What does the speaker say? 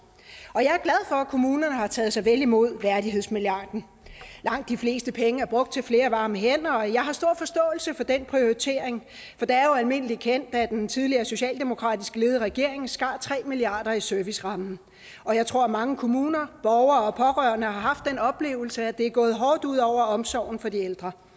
og jeg at kommunerne har taget så vel imod værdighedsmilliarden langt de fleste penge er brugt til flere varme hænder og jeg har stor forståelse for den prioritering for det er jo almindelig kendt at en tidligere socialdemokratisk ledet regering skar tre milliard kroner i servicerammen og jeg tror at mange kommuner borgere og pårørende har haft den oplevelse at det er gået hårdt ud over omsorgen for de ældre